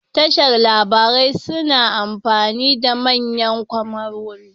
Tashar labarai suna amfani da manyan kyamarori